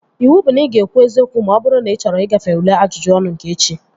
Iwu bụ na ị ga-ekwu eziokwu ma ọ bụrụ na ị chọrọ igafe ule ajụjụ ọnụ nke echi!